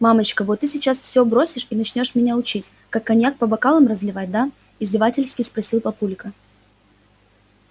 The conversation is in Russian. мамочка вот ты сейчас все бросишь и начнёшь меня учить как коньяк по бокалам разливать да издевательски спросил папулька